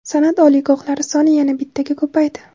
Sanʼat oliygohlari soni yana bittaga ko‘paydi.